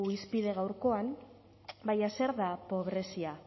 hizpide gaurkoan baina zer da pobrezia